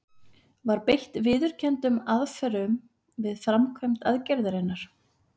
Var beitt viðurkenndum aðferðum við framkvæmd aðgerðarinnar?